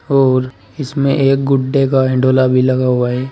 और इसमें एक गुड्डे का हंडोला भी लगा हुआ है।